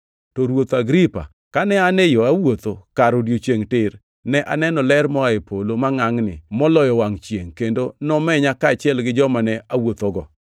To ruoth Agripa, kane an e yo awuotho kar odiechiengʼ tir, ne aneno ler moa e polo mangʼangʼni moloyo wangʼ chiengʼ kendo nomenya kaachiel gi joma ne awuothogo.